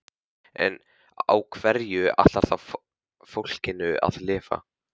En á hverju ætlarðu þá fólkinu að lifa?